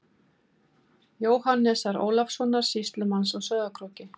Jóhannesar Ólafssonar sýslumanns á Sauðárkróki.